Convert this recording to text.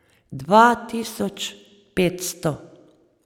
Dva tisoč petsto.